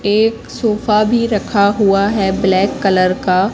एक सोफा भी रखा हुआ है ब्लैक कलर का।